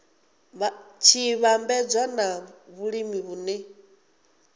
tshi vhambedzwa na vhulimi vhune